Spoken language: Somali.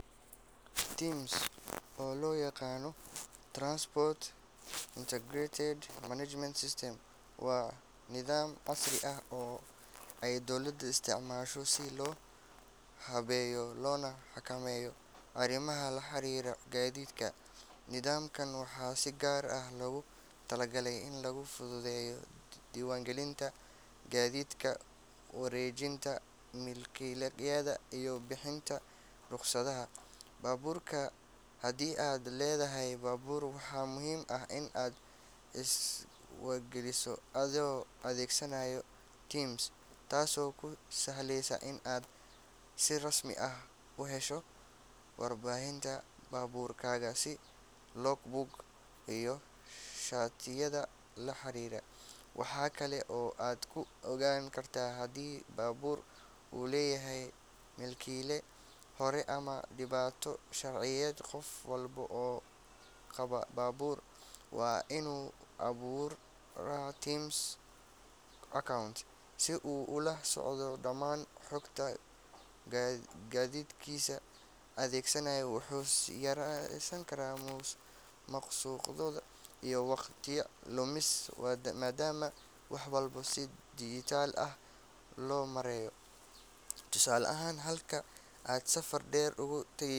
TIMS oo loo yaqaan Transport Integrated Management System waa nidaam casri ah oo ay dowladda isticmaasho si loo habeeyo loona xakameeyo arrimaha la xiriira gaadiidka. Nidaamkan waxaa si gaar ah loogu talagalay in lagu fududeeyo diiwaangelinta gaadiidka, wareejinta milkiyadda, iyo bixinta rukhsadaha baabuurta. Haddii aad leedahay baabuur, waxaa muhiim ah in aad isdiiwaangeliso adoo adeegsanaya TIMS, taasoo kuu sahlaysa in aad si rasmi ah u hesho waraaqaha baabuurkaaga sida logbook iyo shatiyada la xiriira. Waxaa kale oo aad ku ogaan kartaa haddii baabuur uu leeyahay milkiyad hore ama dhibaato sharciyeed. Qof walba oo qaba baabuur waa inuu abuuraa TIMS account si uu ula socdo dhammaan xogta gaadiidkiisa. Adeeggan wuxuu yareynayaa musuqmaasuqa iyo waqti lumiska, maadaama wax walba si dijitaal ah loo maareeyo. Tusaale ahaan, halkii aad safar dheer ugu tagi